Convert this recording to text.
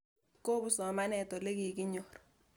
Kopun somanet olekikinyor